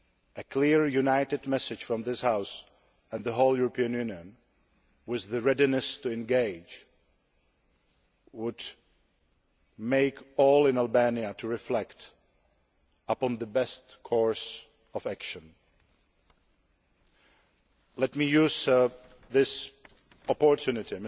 A clear united message from this House and the whole European Union with the readiness to engage would make all in Albania reflect upon the best course of action. Let me use this opportunity